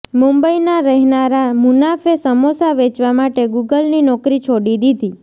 મુંબઈના રહેનારા મુનાફે સમોસા વેચવા માટે ગૂગલની નોકરી છોડી દીધી